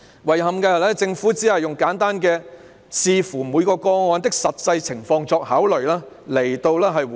遺憾的是，政府只簡單地以"視乎每宗個案的實際情況作考慮"來回應。